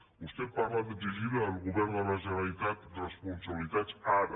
vostè parla d’exigir al govern de la generalitat responsabilitats ara